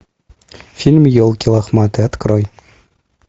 фильм елки лохматые открой